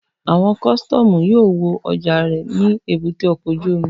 Àwọn kọ́sítọ́mù yóò wo ọjà rẹ ní èbúté ọkọ̀ ojú omi